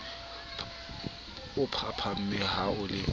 o phaphame ha o le